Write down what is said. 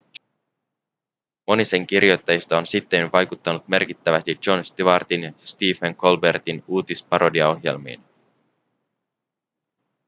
moni sen kirjoittajista on sittemmin vaikuttanut merkittävästi jon stewartin ja stephen colbertin uutisparodiaohjelmiin